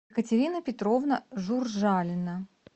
катерина петровна журжалина